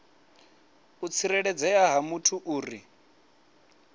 u tsireledzea ha muthu uri